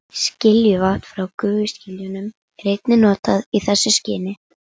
Skiljuvatn frá gufuskiljunum er einnig notað í þessu skyni.